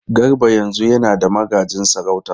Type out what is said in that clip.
Garba yanzu yana da magajin sarauta.